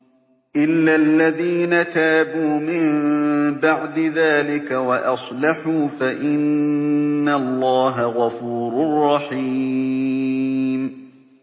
إِلَّا الَّذِينَ تَابُوا مِن بَعْدِ ذَٰلِكَ وَأَصْلَحُوا فَإِنَّ اللَّهَ غَفُورٌ رَّحِيمٌ